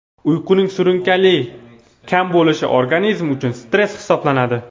Uyquning surunkali kam bo‘lishi organizm uchun stress hisoblanadi.